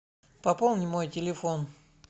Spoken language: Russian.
пополни мой телефон